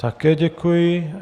Také děkuji.